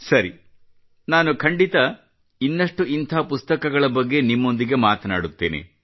ಸರಿ ನಾನು ಖಂಡಿತ ಇನ್ನಷ್ಟು ಇಂಥ ಪುಸ್ತಕಗಳ ಬಗ್ಗೆ ನಿಮ್ಮೊಂದಿಗೆ ಮಾತನಾಡುತ್ತೇನೆ